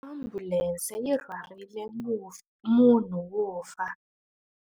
Ambulense yi rhwarile munhu wo fa.